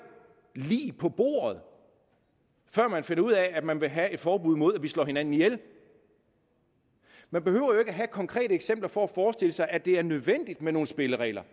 lig på bordet før man finder ud af at man vil have et forbud mod at vi slår hinanden ihjel man behøver ikke have konkrete eksempler for at forestille sig at det er nødvendigt med nogle spilleregler